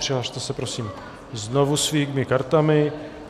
Přihlaste se prosím znovu svými kartami.